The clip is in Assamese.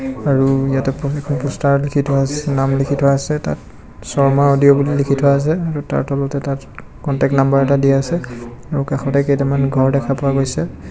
আৰু ইয়াতে পষ্টাৰ লিখি থোৱা আছে নাম লিখি থোৱা আছে তাত শৰ্মা অডিও বুলি লিখি থোৱা আছে আৰু তাৰ তলতে কণ্টেক নামবাৰ এটা দিয়া আছে আৰু কাষতে কেইটামান ঘৰ দেখা পোৱা গৈছে.